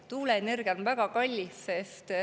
Tuuleenergia on väga kallis.